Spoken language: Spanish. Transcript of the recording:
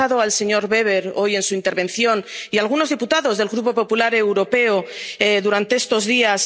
He escuchado al señor Weber hoy en su intervención y a algunos diputados del Grupo Popular Europeo durante estos días.